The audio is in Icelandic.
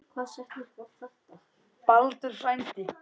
Baldur frændi.